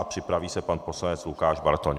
A připraví se pan poslanec Lukáš Bartoň.